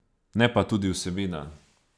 Ne pa tudi vsebina.